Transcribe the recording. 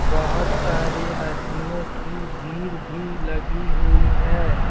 बहुत सारे आदमियों की भीड़ भी लगी हुई है।